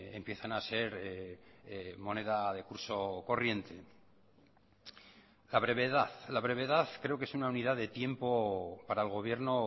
empiezan a ser moneda de curso corriente la brevedad la brevedad creo que es una unidad de tiempo para el gobierno